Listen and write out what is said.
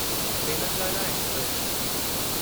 Telangana express